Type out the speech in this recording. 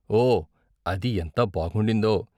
ఓ! అది ఎంత బాగుండిందో.